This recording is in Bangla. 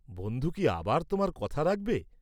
বন্ধু কি আবার তোমার কথা রাখবে?